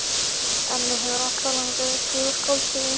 En mig hefur alltaf langað til að skrifa skáldsögu.